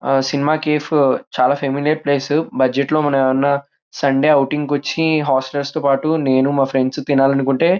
ఆ cinema cafe చానా familiar place budget లో మనం ఏమైనా సండే ఔటింగ్ కి వచ్చి హాస్టల్ర్స్ తో పాటు నేను మా ఫ్రెండ్స్ తో తినాలి అనుకుంటే --